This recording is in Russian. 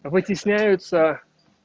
вытесняются